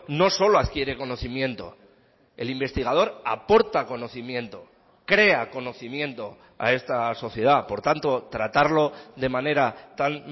no solo adquiere conocimiento el investigador aporta conocimiento crea conocimiento a esta sociedad por tanto tratarlo de manera tan